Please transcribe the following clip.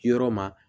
Yɔrɔ ma